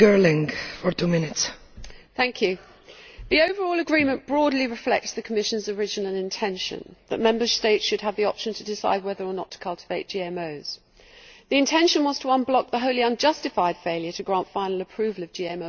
Madam President, the overall agreement broadly reflects the Commission's original intention that Member States should have the option to decide whether or not to cultivate GMOs. The intention was to unblock the wholly unjustified failure to grant final approval of GMOs by the Commission.